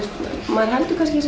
maður heldur kannski